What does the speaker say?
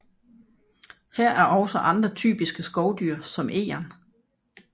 Her er også andre typiske skovdyr som egern